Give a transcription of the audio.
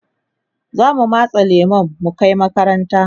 zamu matse lemun mu Kai makaranta